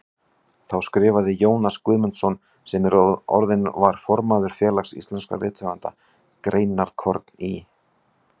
Þá skrifaði Jónas Guðmundsson, sem orðinn var formaður Félags íslenskra rithöfunda, greinarkorn í